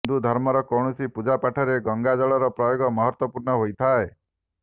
ହିନ୍ଦୁ ଧର୍ମର କୌଣସି ପୂଜା ପାଠରେ ଗଙ୍ଗା ଜଳର ପ୍ରୟୋଗ ମହତ୍ବପୂର୍ଣ୍ନ ହୋଇଥାଏ